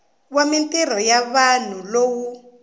wa mintirho ya vanhu lowu